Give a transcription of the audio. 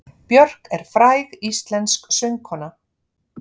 Björk er fræg íslensk söngkona.